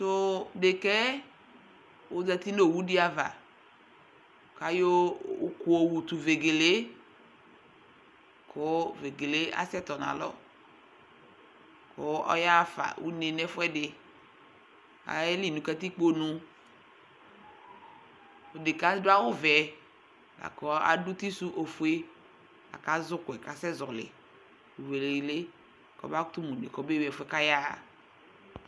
to deka yɛ ozati n'owu di ava k'ayɔ òkò yɔ wu to vegele yɛ kò vegele asɛ tɔ n'alɔ k'ɔya ɣa fa no une n'ɛfu ɛdi ayeli no katikpo nu odeka yɛ adu awu vɛ la kò adu uti su ofue la kò azɛ òkò yɛ k'asɛ zɔli vegele k'ɔba kutò mo une k'ɔba ɣa ewi ɛfu yɛ k'aya ɣa